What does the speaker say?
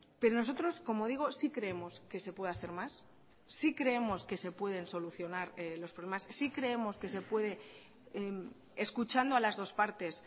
pero nosotros como digo sí creemos que se puede hacer más sí creemos que se pueden solucionar los problemas sí creemos que se puede escuchando a las dos partes